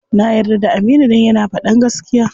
Na yarda da Aminu dan yana faɗan gaskiya.